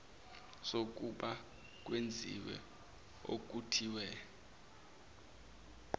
sokuba kwenziwe okuthize